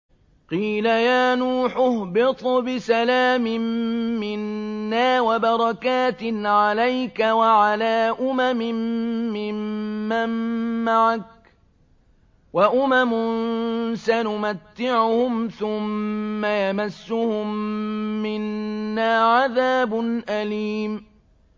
قِيلَ يَا نُوحُ اهْبِطْ بِسَلَامٍ مِّنَّا وَبَرَكَاتٍ عَلَيْكَ وَعَلَىٰ أُمَمٍ مِّمَّن مَّعَكَ ۚ وَأُمَمٌ سَنُمَتِّعُهُمْ ثُمَّ يَمَسُّهُم مِّنَّا عَذَابٌ أَلِيمٌ